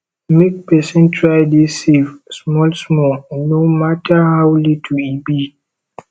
mek pesin try dey safe smal smal no mata ow little e be